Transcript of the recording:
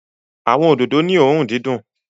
Awọn ododo ni õrùn didùn